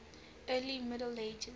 early middle ages